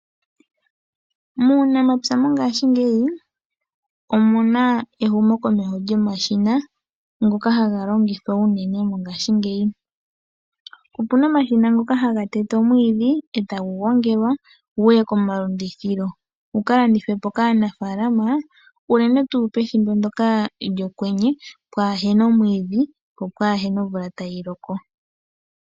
Muunamapya mongaashingeyi omu na ehumo komeho lyomashina ngoka haga longithwa uunene mongaashingeyi. Opuna omashina ngoka haga tete omwiidhi etagu gongelwa guye komalandithilo, gu kalandithwe po kaanafalama uunene tuu pethimbo ndjoka lyokwenye pwahena omwiidhi po pwaahena omvula tayi loko.